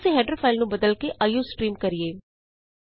ਆਉ ਅਸੀਂ header file ਨੂੰ ਬਦਲ ਕੇ ਆਈਓਸਟਰੀਮ ਕਰੀਏ